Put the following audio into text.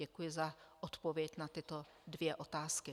Děkuji za odpověď na tyto dvě otázky.